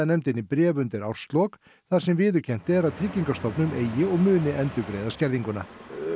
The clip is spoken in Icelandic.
nefndinni bréf undir árslok þar sem viðurkennt er að Tryggingastofnun eigi og muni endurgreiða skerðinguna